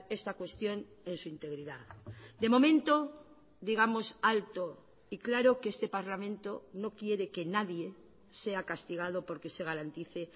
esta cuestión en su integridad de momento digamos alto y claro que este parlamento no quiere que nadie sea castigado porque se garantice